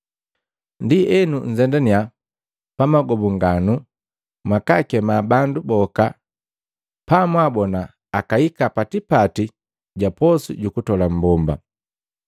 Ndienu nzendaniya pa maagobukanu mwakakema bandu boka bamwaabona, akahika pa tipati ga posu ju kutola mmbomba.’